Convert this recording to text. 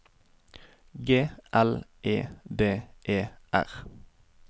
G L E D E R